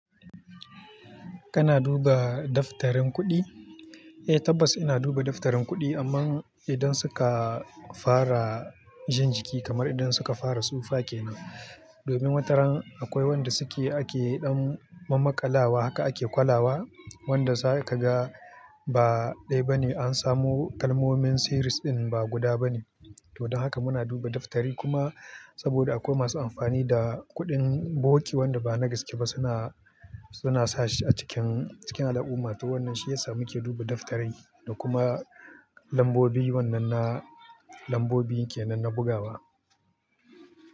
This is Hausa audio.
Kana duba daftarin kuɗi? Eh tabbas ina duba daftarin kuɗi amma idan suka fara jin jiki kamar idan suka fara tsufa ke nan. Domin wataran akwai wanda suke ake ɗan mammakalawa haka ake kwalawa wanda zakaga ba ɗaya bane an samo kalmomin series ɗin ba guda bane. To don haka muna duba daftari kuma saboda akwai masu amfani da kuɗin bogi wanda ba na gaske ba suna, suna sashi a cikin, cikin al'umma to wannan shi ya sa muke duba daftari da kuma lambobi wannan na lambobi ke nan na bugawa.